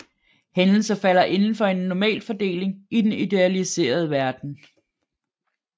Hændelser falder indenfor en Normalfordeling i den idealiserede verden